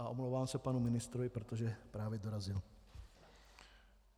A omlouvám se panu ministrovi, protože právě dorazil.